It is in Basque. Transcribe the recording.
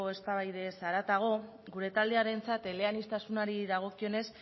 eztabaidaz haratago gure talderentzat eleaniztasunari dagokionez